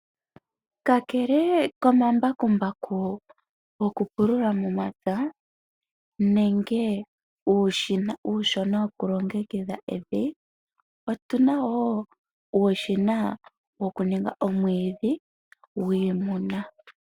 Kakele komambakumbaku goku helela momapya nenge uushina woku longekidha evi, otuna woo uushina woku ninga omwiidhi wiimuna.